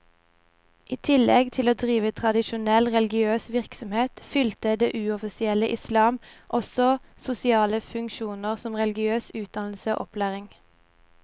I tillegg til å drive tradisjonell religiøs virksomhet, fylte det uoffisielle islam også sosiale funksjoner som religiøs utdannelse og opplæring.